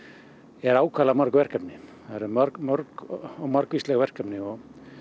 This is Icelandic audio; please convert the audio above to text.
eru ákaflega mörg verkefni mörg mörg og margvísleg verkefni og